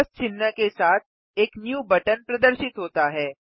plus चिह्न के साथ एक न्यू बटन प्रदर्शित होता है